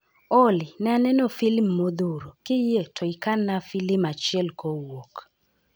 Olly, ne aneno filim modhuro, kiyie to ikan na filim achiel kowuok